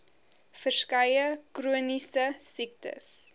verskeie chroniese siektes